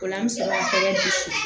O la an bɛ sɔrɔ ka bisi